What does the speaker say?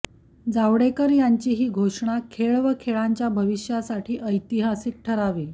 जावडेकर यांची ही घोषणा खेळ व खेळांच्या भविष्यासाठी ऐतिहासिक ठरावी